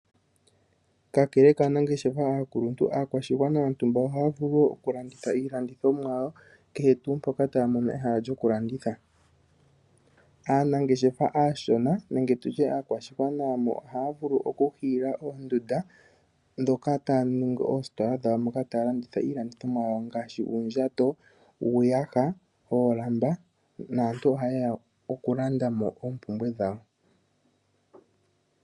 Kakele kaanangeshefa aakuluntu, aakwashigwana yontumba oha vulu wo oku landitha iilandithomwa yawo kehe tuu mpoka ta mono ehala lyoku landitha. Aanangeshefa ashona nenge tutye aakwashigwana oha vulu oku hiila ondunda dhoka tadhi ningi ositola dhawo moka ta landitha iilandithomwa yawo ngaashi uundjato, uuyaha, oolamba naantu ohayeya oku landamo ompumpwe dhawo.